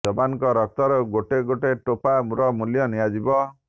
ଯବାନ ଙ୍କ ରକ୍ତ ର ଗୋଟେ ଗୋଟେ ଟୋପା ର ମୂଲ୍ୟ ନିଆଯିବ